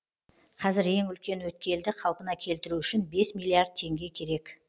қазір ең үлкен өткелді қалпына келтіру үшін бес миллиард теңге керек